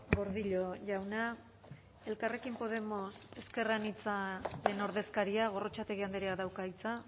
gordillo jauna elkarrekin podemos ezker anitzaren ordezkaria gorrotxategi andreak dauka hitza